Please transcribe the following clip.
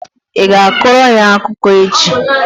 Ị ga-akọrọ anyị akụkọ echi?